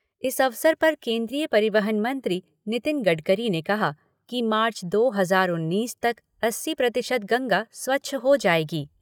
इस अवसर पर केन्द्रीय परिवहन मंत्री नितिन गडकरी ने कहा कि मार्च दो हजार उन्नीस तक अस्सी प्रतिशत गंगा स्वच्छ हो जायेगी।